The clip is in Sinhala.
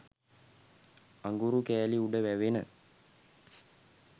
අඟුරු කැලි උඩ වැවෙන